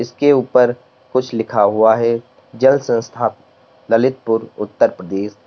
के ऊपर कुछ लिखा हुआ है जल संस्थाप ललितपुर उत्तर प्रदेश।